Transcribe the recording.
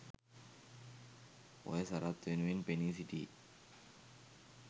ඔය සරත් වෙනුවෙන් පෙනී සිටියේ